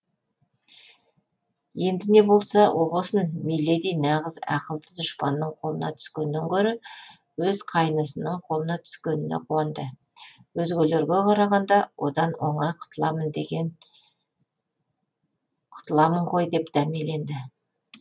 енді не болса о болсын миледи нағыз ақылды дұшпанның қолына түскеннен гөрі өз қайнысының қолына түскеніне қуанды өзгелерге қарағанда одан оңай құтыламын ғой деп дәмеленді